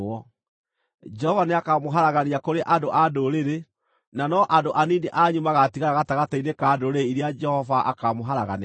Jehova nĩakamũharagania kũrĩ andũ a ndũrĩrĩ, na no andũ anini anyu magaatigara gatagatĩ-inĩ ka ndũrĩrĩ iria Jehova akaamũharaganĩria.